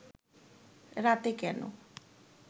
রাতে কেন